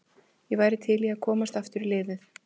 Ég væri til í að komast aftur í liðið.